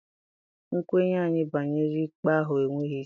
Nkwenye anyị banyere ikpe ahụ enweghị isi.